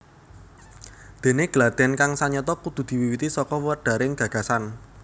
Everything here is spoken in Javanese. Dene gladhen kang sanyata kudu diwiwiti saka wedharing gagasan